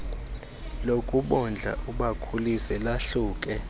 lokubondla ubakhulise lahluke